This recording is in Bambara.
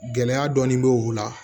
Gɛlɛya dɔɔnin bɛ u la